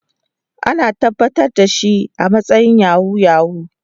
An tabbatar da shi a matsayin Yahoo yahoo.